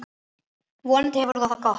Vonandi hefur þú það gott.